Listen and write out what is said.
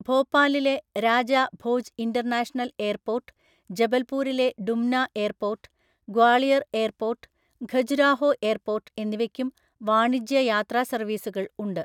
ഭോപ്പാലിലെ Raja Bhoj international airport, ജബൽപൂരിലെ Dumna airport, Gwalior airport, Khajuraho airport എന്നിവയ്ക്കും വാണിജ്യ യാത്രാ സർവീസുകൾ ഉണ്ട്.